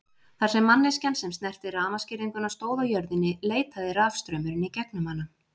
Þar sem manneskjan sem snerti rafmagnsgirðinguna stóð á jörðinni leitaði rafstraumurinn í gegnum hana.